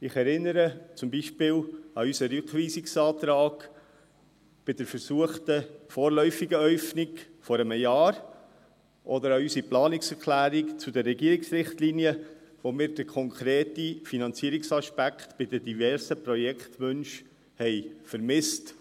Ich erinnere zum Beispiel an unseren Rückweisungsantrag bei der versuchten vorläufigen Äufnung vor einem Jahr oder an unsere Planungserklärung zu den Regierungsrichtlinien, in denen wir den konkreten Finanzierungsaspekt bei den diversen Projektwünschen vermissten.